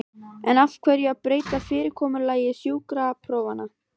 En af hverju að breyta fyrirkomulagi sjúkraprófanna?